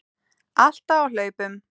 Alltaf á hlaupum.